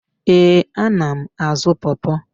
Ee, ana m azụ pọrpọr.